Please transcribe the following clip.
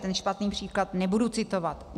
Ten špatný příklad nebudu citovat.